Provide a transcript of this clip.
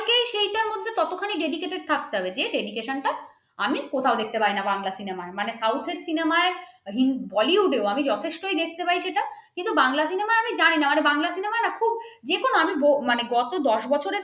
ওখানে dedicated থাকতে হবে dedication টা আমি কোথাও দেখতে পাই না বাংলা cinema য় south র cinema য় bollywood ও যথেষ্ট দেখতে পাই যেটা কিন্তু বাংলা সিনেমায় আমি জানিনা বাংলা cinema না খুব যেকোনো কত দস বছর